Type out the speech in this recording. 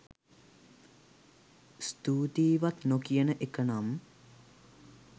ස්තුතියිවත් නොකියන එකනම්